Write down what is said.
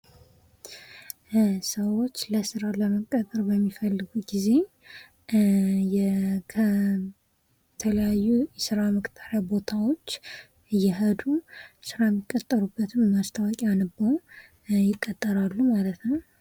ሰዎች ለስራ ለመቀጠር በሚፈልጉ ጊዜ ከተለያዩ ስራ መቅጠሪያ ቦታዎች እየሄዱ ስራ የሚቀጠሩበትን ማስታወቂያ አንበው ይቀጠራሉ ማለት ነው ።